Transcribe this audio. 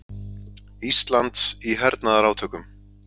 Íslands í hernaðarátökum.